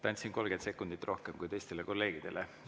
Andsin 30 sekundit rohkem kui teistele kolleegidele.